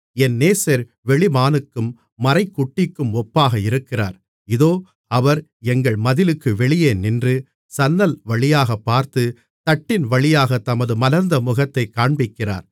என் நேசர் வெளிமானுக்கும் மரைக்குட்டிக்கும் ஒப்பாக இருக்கிறார் இதோ அவர் எங்கள் மதிலுக்கு வெளியே நின்று சன்னல் வழியாகப் பார்த்து தட்டியின் வழியாகத் தமது மலர்ந்த முகத்தைக் காண்பிக்கிறார்